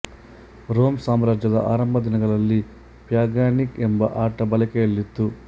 Rome ಸಾಮ್ರಾಜ್ಯದ ಆರಂಭ ದಿನಗಳಲ್ಲಿ ಪ್ಯಾಗಾನಿಕಾ ಎಂಬ ಆಟ ಬಳಕೆಯಲ್ಲಿತ್ತು